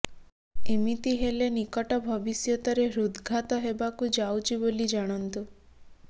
ଏମିତି ହେଲେ ନିକଟ ଭବିଷ୍ୟତରେ ହୃଦ୍ଘାତ ହେବାକୁ ଯାଉଛି ବୋଲି ଜାଣନ୍ତୁ